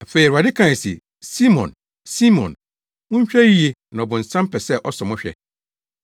Afei Awurade kae se, “Simon, Simon! Monhwɛ yiye na ɔbonsam pɛ sɛ ɔsɔ mo hwɛ.